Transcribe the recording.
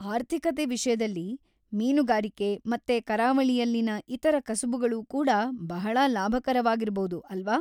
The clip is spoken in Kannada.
ಆರ್ಥಿಕತೆ ವಿಷ್ಯದಲ್ಲಿ, ಮೀನುಗಾರಿಗೆ ಮತ್ತೆ ಕರಾವಳಿಯಲ್ಲಿನ ಇತರ ಕಸಬುಗಳೂ ಕೂಡ ಬಹಳಾ ಲಾಭಕರವಾಗಿರಬೌದು, ಅಲ್ವಾ?